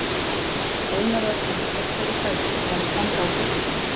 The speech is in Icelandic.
Eina vörn hans gegn þeirri hræðslu var að standa á kúplingunni.